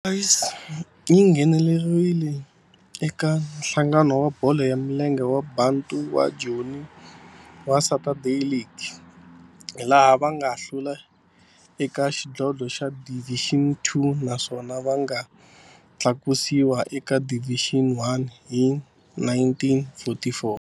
Orlando Boys yi nghenelerile eka Nhlangano wa Bolo ya Milenge wa Bantu wa Joni wa Saturday League, laha va nga hlula eka xidlodlo xa Division Two naswona va nga tlakusiwa eka Division One hi 1944.